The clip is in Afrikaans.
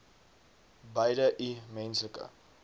beide i menslike